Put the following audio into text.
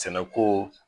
Sɛnɛko